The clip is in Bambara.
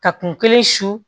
Ka kun kelen su